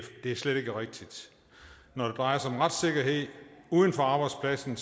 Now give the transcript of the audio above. er slet ikke rigtigt når det drejer sig om retssikkerhed uden for arbejdspladsen